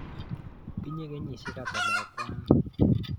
Tinye kenyisyek ata lakwani?